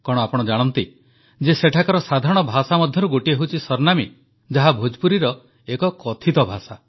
କଣ ଆପଣ ଜାଣନ୍ତି ଯେ ସେଠାକାର ସାଧାରଣ ଭାଷା ମଧ୍ୟରୁ ଗୋଟିଏ ହେଉଛି ସରନାମୀ ଯାହା ଭୋଜପୁରୀର ଏକ କଥିତ ଭାଷା